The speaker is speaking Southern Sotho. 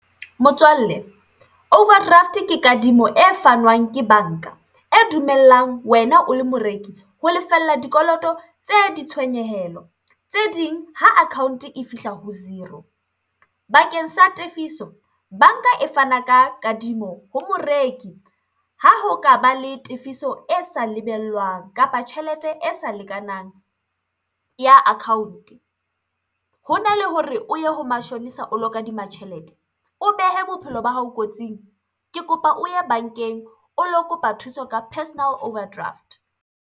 Motswalle, overdraft ke kadimo e fanwang ke banka, e dumellang wena o le moreki ho lefella dikoloto tse ditshwenyehelo tse ding ha account e fihla ho zero. Bakeng sa tefiso banka e fana ka kadimo ho moreki, ha ho ka ba le tefiso e sa lebellwang kapa tjhelete e sa lekanang ya account. Hona le hore o ye ho mashonisa o lo kadima tjhelete, o behe bophelo ba hao kotsing, ke kopa o ye bankeng o lo kopa thuso ka personal overdraft.